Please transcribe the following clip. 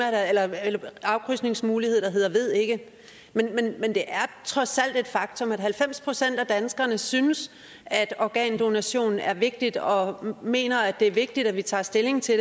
at der er en afkrydsningsmulighed der hedder ved ikke men det er trods alt et faktum at halvfems procent af danskerne synes at organdonation er vigtigt og mener at det er vigtigt at vi tager stilling til